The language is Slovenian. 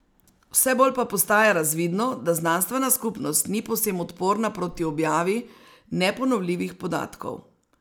Vse bolj pa postaja razvidno, da znanstvena skupnost ni povsem odporna proti objavi neponovljivih podatkov.